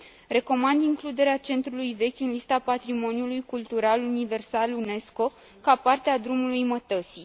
Recomand includerea centrului vechi în lista patrimoniului cultural universal UNESCO, ca parte a drumului mătăsii.